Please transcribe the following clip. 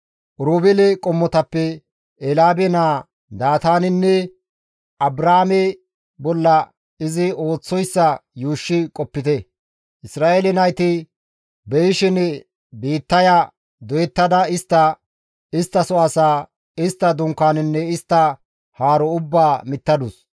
Oroobeele qommotappe Elyaabe naa Daataanenne Abraame bolla izi ooththoyssa yuushshi qopite; Isra7eele nayti beyishin biittaya doyettada istta, isttaso asaa, istta dunkaanenne istta haaro ubbaa mittadus.